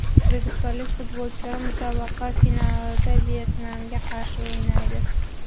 O‘zbekistonlik futbolchilar musobaqa finalida Vyetnamga qarshi o‘ynaydi.